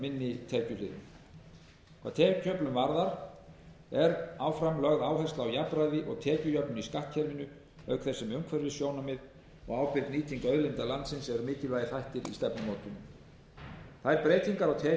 tekjuliðum hvað tekjuöflun varðar er áfram lögð áhersla á jafnræði og tekjujöfnun í skattkerfinu auk þess sem umhverfissjónarmið og ábyrg nýting auðlinda landsins eru mikilvægir þættir í stefnumótuninni þær breytingar á tekjuöflun sem þegar hafa verið gerðar mótast mjög glögglega af þessum